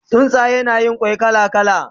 Tsuntsaye na Yin kwai kala kala